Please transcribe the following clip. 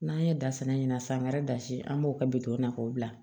N'an ye da sɛnɛ ɲɛna san wɛrɛ dasi an b'o kɛ bitɔn na k'o bila